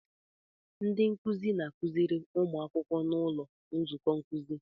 Ndị nkuzi na-akụziri ụmụ akwụkwọ n'ụlọ nzukọ nkuzi.